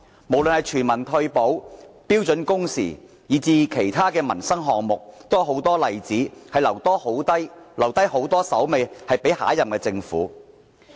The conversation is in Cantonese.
無論全民退保、標準工時，以至其他民生項目也有很多例子，留下很多工作給下任政府跟進。